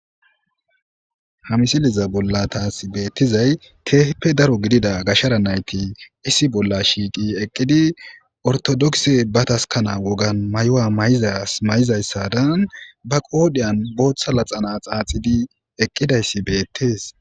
hamisiliza bolla taas beettizay teeheppe daro gidida gashara nayti issi bolla shiiqi eqqidi ortodokse ba taskana wogan may7owa mayzas may7izayssadan ba qoodiyan booththa laxana xaaxidi eqqidayssi beettees